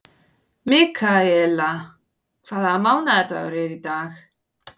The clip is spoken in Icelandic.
Mikaela, hvaða mánaðardagur er í dag?